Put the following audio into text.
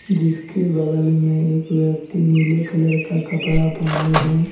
जिसके बगल में एक व्यक्ति नीले कलर का कपड़ा पहने हैं।